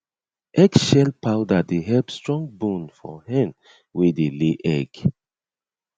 eggshell powder dey help strong bone for hen wey dey lay egg